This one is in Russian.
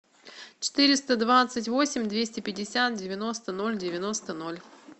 четыреста двадцать восемь двести пятьдесят девяносто ноль девяносто ноль